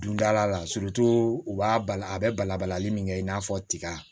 Dondala la u b'a bala a bɛ bala balali min kɛ i n'a fɔ tiga